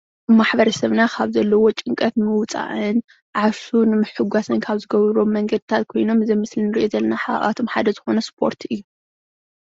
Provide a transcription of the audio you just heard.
ማሕበረ ሰብና ካብ ዘለዎ ጭንቀት ንምውፃእን ዓርሱ ንምሕጓስን ካብ ዝገብርዎ መንገዲታት ኮይኖም ኣብዚ ምስሊ እንሪኢ ዘለና ሓደ ካብኣቶም ዝኮነ እስፖርቲ እዩ፡፡